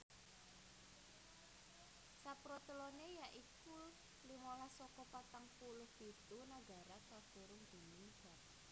Saproteloné ya iku limolas saka patang puluh pitu nagara kakurung déning dharatan